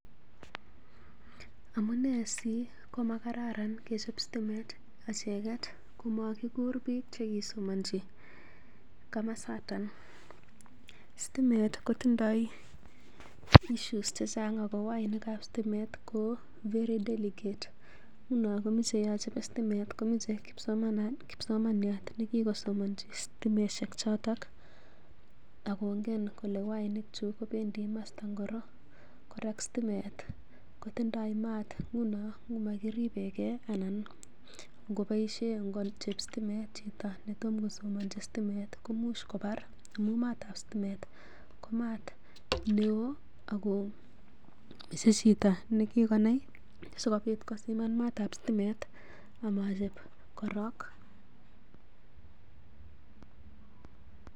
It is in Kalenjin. Amunee si komakararan kechop sitimet echeget komakiguur biik che kisomanchi komasaton? Stimet kotindoi issues che chang ago wainik ab kapsitimiet ko very deligate Nguno stimet komoche kipsomaniat nekigosomonchi stimoshek chotok akongen kole wainikchu kobendi komosta ngiro. Kora stimet kotindo maat, nguno ngomakiribenge anan ngoboishe ngochob stimet chito netomkosomonchi stimet komuch kobar amun maat ab stimet ko maat neo ago usus chito ne kigonai sikobit kosiman maat ab stimet amachob korong.